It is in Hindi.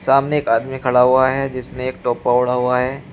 सामने एक आदमी खड़ा हुआ है जिसने एक टोपा ओढ़ा हुआ है।